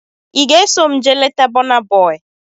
Ị ga-eso m jee leta Bọna Bọi?